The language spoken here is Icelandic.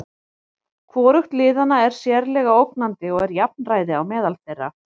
Hvorugt liðanna er sérlega ógnandi og er jafnræði á meðal þeirra.